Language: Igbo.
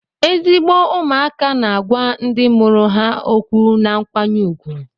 Ezigbo ụmụaka na-agwa ndị mụrụ ha okwu na nkwanye ùgwù